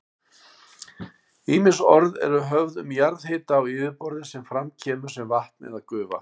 Ýmis orð eru höfð um jarðhita á yfirborði sem fram kemur sem vatn eða gufa.